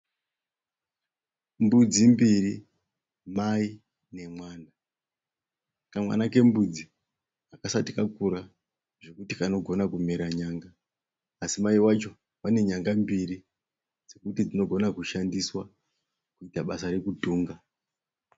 Mbudzi mbiri, mai nemwana. Kamwana kembudzi hakasati kakura zvokuti kanogona kumera nyanga asi mai vacho vane nyanga mbiri dzokuti dzinogona kushandiswa kuita basa rokutunga.